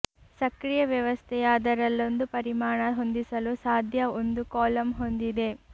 ಸಕ್ರಿಯ ವ್ಯವಸ್ಥೆಯ ಅದರಲ್ಲೊಂದು ಪರಿಮಾಣ ಹೊಂದಿಸಲು ಸಾಧ್ಯ ಒಂದು ಕಾಲಮ್ ಹೊಂದಿದೆ